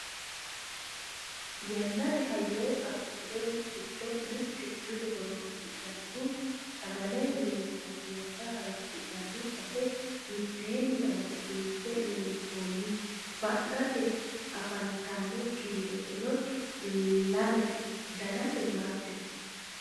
yannate hayyo abbitinori giddo mitte mine horonsi'nanihu sagale loosi'nanniwanna hayeeshshinani base mitteenni amadisiisnse lonsoonniti fa'nate afantanno kiiroseno lamete danase waajjote